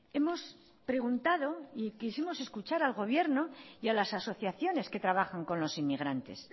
hemos preguntado y quisimos escuchar al gobierno y a las asociaciones que trabajan con los inmigrantes